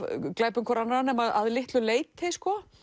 glæpum hvor annarrar nema að litlu leyti